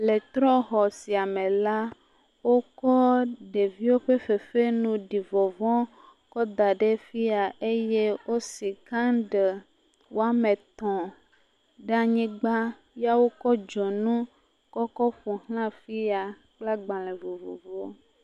Le trɔ̃xɔ sia me la wokɔ ɖeviwo ƒe fefenu ɖi vɔvɔ̃ kɔ da ɖe fi ya eye wosi kɛnɖɛli woame etɔ̃ ɖe anyigba ya woɔ dzonu kɔ kɔ ƒo ʋlã fi ya kple agbalẽ vovovowo.